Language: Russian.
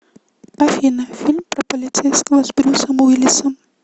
афина фильм про полицейского с брюсом уиллисом